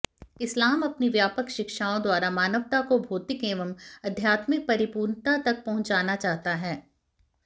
इस्लाम अपनी व्यापक शिक्षाओं द्वारा मानवता को भौतिक एवं आध्यात्मिक परिपूर्णता तक पहुंचाना चाहता है